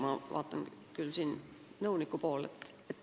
Ma vaatan praegu nõuniku poole ...